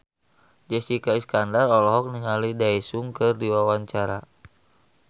Jessica Iskandar olohok ningali Daesung keur diwawancara